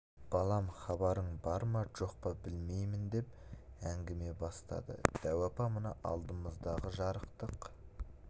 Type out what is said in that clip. балам хабарың бар ма жоқ па білмеймін деп әңгіме бастады дәу апа мына алдымыздағы жарықтық